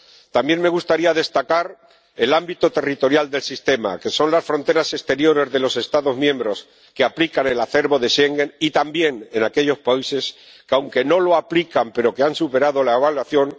También me gustaría destacar el ámbito territorial del sistema, que son las fronteras exteriores de los Estados miembros que aplican el acervo de Schengen y también aquellos países que, aunque no lo aplican, han superado la evaluación.